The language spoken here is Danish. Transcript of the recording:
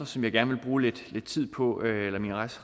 som jeg gerne vil bruge lidt tid på